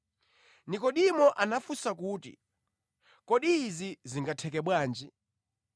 Nekodimo anafunsa kuti, “Kodi izi zingatheke bwanji?”